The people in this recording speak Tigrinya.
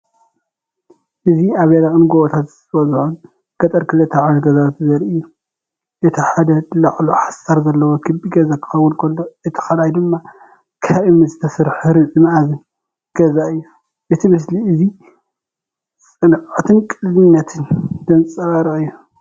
እዚ ኣብ ደረቕን ጎቦታት ዝበዝሖን ገጠር ክልተ ዓይነት ገዛውቲ ዘርኢ እዩ። እቲ ሓደ ላዕሉ ሓሰር ዘለዎ ክቢ ገዛ ክኸውን ከሎ እቲ ካልኣይ ድማ ካብ እምኒ ዝተሰርሐ ርብዒ-መኣዝን ገዛ እዩ። እዚ ምስሊ እዚ ጽንዓትን ቅልልነትን ዘንጸባርቕ እዩ።